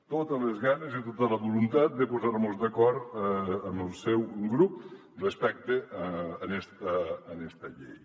totes les ganes i tota la voluntat de posar mos d’acord amb el seu grup respecte a esta llei